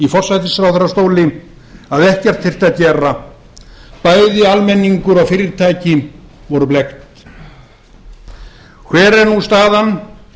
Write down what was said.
forsætisráðherrastól að ekkert þyrfti að gera bæði almenningur og fyrirtæki voru blekkt hver er nú staðan